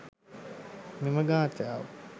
මෙම ගාථාව